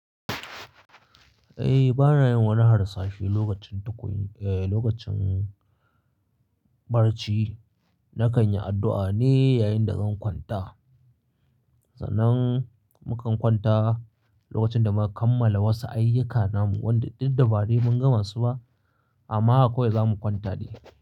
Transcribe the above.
Eh, ba na yin wani harsashi lokacin tukwu-- eh, lokacin barci. Na kan yi addu'a ne yayin da zan kwanta. Sanan mu kan kwanta lokacin da muka kammala wasu ayyuka namu wanda duk bai mun gama su ba, amma akwai ga mu kwanta ne.